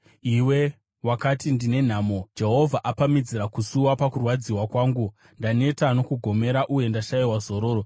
Iwe wakati, ‘Ndine nhamo! Jehovha apamhidzira kusuwa pakurwadziwa kwangu; ndaneta nokugomera uye ndashayiwa zororo.’ ”